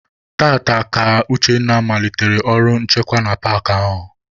Taata ka Uchenna malitere ọrụ nchekwa na paakị ahụ.